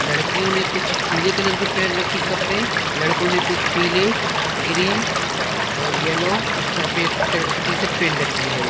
लड़कियों ने कुछ पीले कलर की पहेन राखी है कपड़े लड़कों ने कुछ पीले ग्रीन और येलो सफेद कलर की टिशर्ट पहन राखी है।